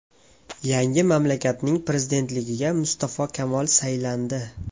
Yangi mamlakatning prezidentligiga Mustafo Kamol saylandi.